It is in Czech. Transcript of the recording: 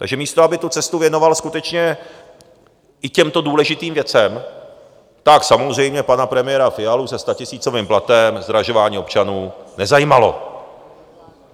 Takže místo aby tu cestu věnoval skutečně i těmto důležitým věcem, tak samozřejmě pana premiéra Fialu se statisícovým platem zdražování občanům nezajímalo.